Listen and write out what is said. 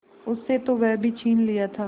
उससे तो वह भी छीन लिया था